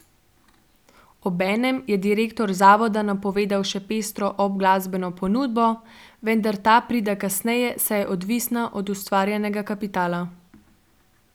Obenem je direktor zavoda napovedal še pestro obglasbeno ponudbo, vendar ta pride kasneje, saj je odvisna od ustvarjenega kapitala.